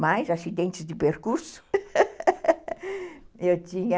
Mas, acidentes de percurso, eu tinha...